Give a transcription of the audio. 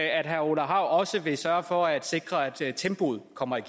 at herre orla hav også vil sørge for at sikre at tempoet kommer